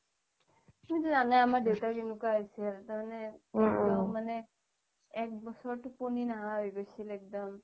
তুমি তো জানায়ে আমাৰ দেউতাৰ কেনেকুৱা হৈছিল তাৰমানে মানে একব্ছৰ তুপনি নাহা হৈ গৈছিল এক্দম